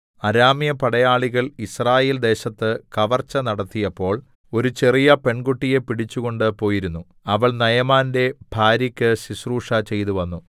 അരാമ്യ പടയാളികൾ യിസ്രായേൽ ദേശത്ത് കവർച്ച നടത്തിയപ്പോൾ ഒരു ചെറിയ പെൺകുട്ടിയെ പിടിച്ചുകൊണ്ട് പോയിരുന്നു അവൾ നയമാന്റെ ഭാര്യക്ക് ശുശ്രൂഷ ചെയ്തുവന്നു